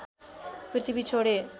पृथ्वी छोडे